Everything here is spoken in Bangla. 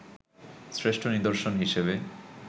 শ্রেষ্ঠ নিদর্শন হিসেবে